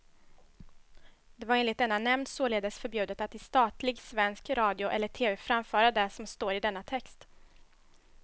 Det var enligt denna nämnd således förbjudet att i statlig svensk radio eller tv framföra det som står i denna text.